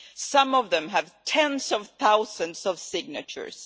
Some of them have tens of thousands of signatures.